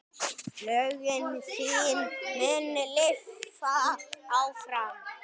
Lögin þín munu lifa áfram.